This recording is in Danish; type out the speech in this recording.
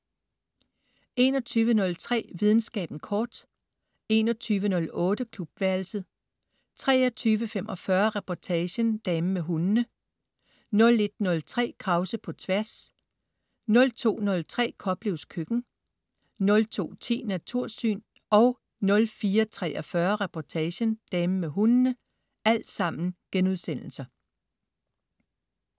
21.03 Videnskaben kort* 21.08 Klubværelset* 23.45 Reportagen: Damen med hundene* 01.03 Krause på Tværs* 02.03 Koplevs Køkken* 02.10 Natursyn* 04.43 Reportagen: Damen med hundene*